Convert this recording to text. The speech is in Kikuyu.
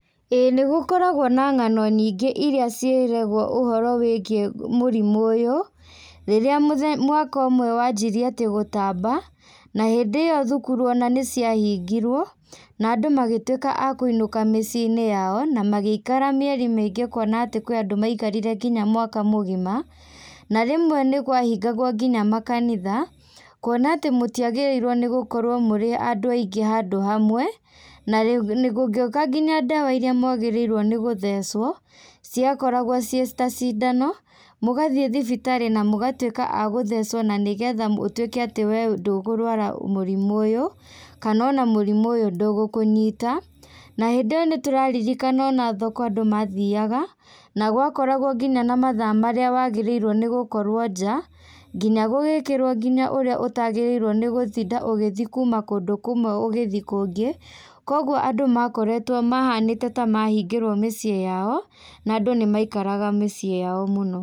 ĩĩ nĩgũkoragwo na ng'ano nyingĩ iria ciĩragwo ũhoro wĩgiĩ gũ mũrimũ ũyũ, rĩrĩa mũthe mwaka ũmwe wambĩrĩirie gũtamba, na hĩndĩ ĩyo thukuru ona nĩciahingirwo, na andũ magĩtwĩka a kũinũka mici-inĩ yao, na magĩikara mĩeri mĩingĩ kuona atĩ nĩkũrĩ andũ maikarire nginya mwaka mũgima, na rĩmwe nĩkwahingagwo nginya makanitha, kuona atĩ mũtiagĩrĩirwo nĩ gũkorwo mũrĩ andũ aingĩ handũ hamwe, na rĩu gũgĩũka nginya ndawa iria mwagĩrĩirwo nĩ gũthecwo, ciakoragwo ciĩ ta cindano, mũgathiĩ thibitarĩ na mũgatwĩka a gũthecwo nanĩgetha ũtwĩke atĩ we ndũkũrwara mũrimũ ũyũ, kanona mũrimũ ũyũ ndũgũkũnyita, na hĩndĩ ĩyo nĩtũraririkana ona thoko andũ mathiaga, na gwakoragwo nginya na mathaa marĩa wagĩrĩirwo nĩgukorwo njaa, nginya gugĩkĩrwo nginya ũrĩa ũtagĩrĩirwo nĩ gũtinda ũgĩthii kuma kũndũ kũmwe ũgĩthiĩ kũngĩ, koguo makoretwo, mahanĩte ta mahingĩrwo mĩciĩ yao na andũ nĩmaikaraga mĩciĩ yao mũno.